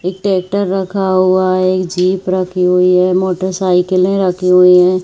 एक ट्रेक्टर रखा हुआ है जीप रखी हुई है मोटरसाइकिले रखी हुई--